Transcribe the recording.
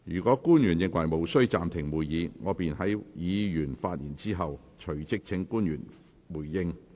若官員認為無需暫停會議，我便會在議員發言後，隨即請官員回應。